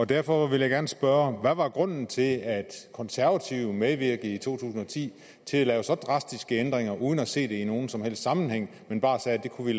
derfor vil jeg gerne spørge hvad var grunden til at konservative medvirkede i to tusind og ti til at lave så drastiske ændringer uden at se det i nogen som helst sammenhæng men bare sagde at det kunne